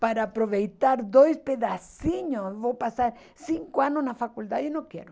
para aproveitar dois pedacinhos, vou passar cinco anos na faculdade e não quero.